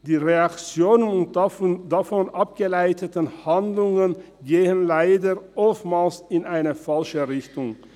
Die Reaktionen darauf und die daraus abgeleiteten Handlungen gehen leider oftmals in eine falsche Richtung.